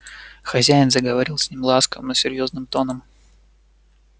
хозяин заговорил с ним ласковым но серьёзным тоном